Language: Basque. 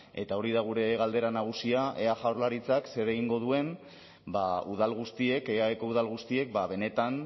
eta hori da gure galdera nagusia ea jaurlaritzak zer egingo duen udal guztiek eaeko udal guztiek benetan